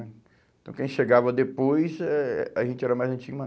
Então, quem chegava depois, eh a gente era mais antigo.